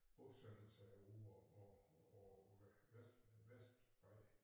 Bosættelser over på over på vest Vestbredden